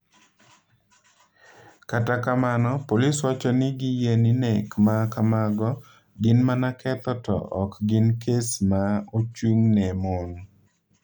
Kata kamano, polis wacho ni giyie ni nek ma kamago gin mana ketho to ok gin kes ma ochung’ne mon.